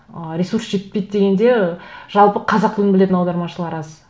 ы ресурс жетпейді дегенде жалпы қазақ тілін білетін аудармашылар аз